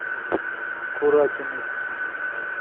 куракиной